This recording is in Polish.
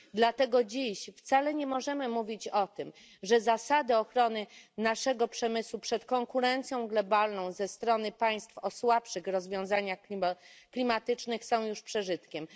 Dlatego dziś wcale nie możemy mówić o tym, że zasady ochrony naszego przemysłu przed konkurencją globalną ze strony państw o słabszych rozwiązaniach klimatycznych są już przeżytkiem.